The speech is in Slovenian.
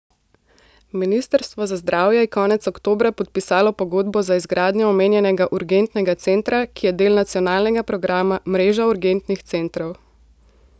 Ministrstvo za zdravje je konec oktobra podpisalo pogodbo za izgradnjo omenjenega urgentnega centra, ki je del nacionalnega programa Mreža urgentnih centrov.